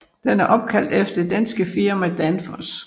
Den er opkaldt efter det danske firma Danfoss